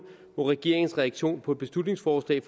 hvor regeringens reaktion på et beslutningsforslag